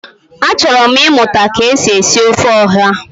Achọrọ m ịmụta ka e si esi ofe ọha